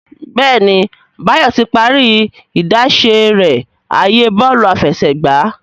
Béèni Bayo tí parí idáṣẹ rẹ ààyè Bọ́ọ̀lù àfẹsẹ̀gbá.